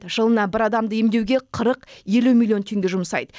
жылына бір адамды емдеуге қырық елу миллион теңге жұмсайды